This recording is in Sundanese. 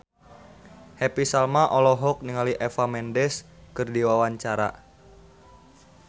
Happy Salma olohok ningali Eva Mendes keur diwawancara